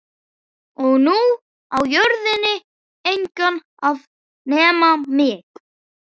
Og nú á jörðin engan að nema mig.